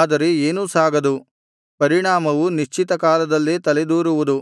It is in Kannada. ಆದರೆ ಏನೂ ಸಾಗದು ಪರಿಣಾಮವು ನಿಶ್ಚಿತ ಕಾಲದಲ್ಲೇ ತಲೆದೋರುವುದು